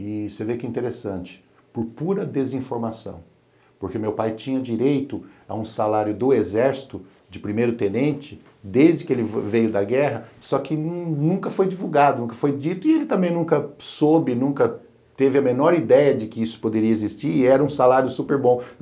E você vê que interessante, por pura desinformação, porque meu pai tinha direito a um salário do exército de primeiro-tenente desde que ele veio da guerra, só que nunca foi divulgado, nunca foi dito e ele também nunca soube, nunca teve a menor ideia de que isso poderia existir e era um salário super bom.